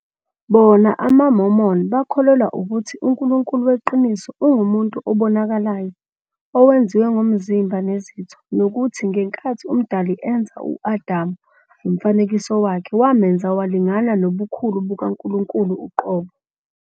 Bona, amaMormon, bakholelwa ukuthi uNkulunkulu weqiniso ungumuntu obonakalayo, owenziwe ngomzimba nezitho, nokuthi ngenkathi uMdali enza u-Adamu ngomfanekiso wakhe, wamenza walingana nobukhulu bukaNkulunkulu uqobo.